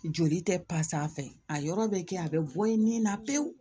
Joli tɛ a fɛ a yɔrɔ bɛ kɛ a bɛ bɔ i nin na pewu